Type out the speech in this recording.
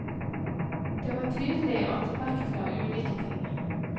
Det var tydelig at de vektla ulike ting.